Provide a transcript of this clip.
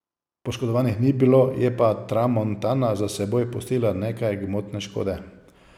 Poškodovanih ni bilo, je pa tramontana za seboj pustila nekaj gmotne škode.